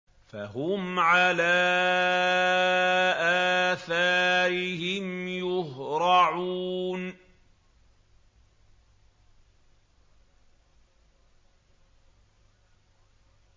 فَهُمْ عَلَىٰ آثَارِهِمْ يُهْرَعُونَ